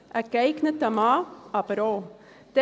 Ein geeigneter Mann aber auch.